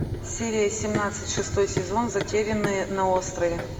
серия семнадцать шестой сезон затерянные на острове